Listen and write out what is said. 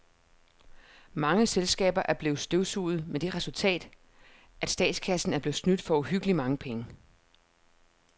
Mange selskaber er blevet støvsuget med det resultat, at statskassen er blevet snydt for uhyggeligt mange penge.